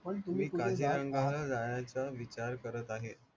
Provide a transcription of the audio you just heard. जायचा विचार करत आहे